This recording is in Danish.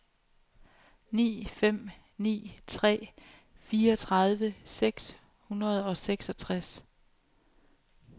ni fem ni tre fireogtredive seks hundrede og seksogtres